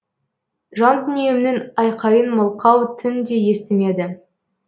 жандүниемнің айқайын мылқау түн де естімеді